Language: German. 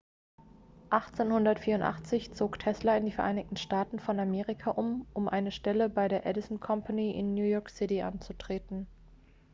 1884 zog tesla in die vereinigten staaten von amerika um um eine stelle bei der edison company in new york city anzutreten